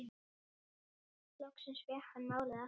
Loksins fékk hann málið aftur.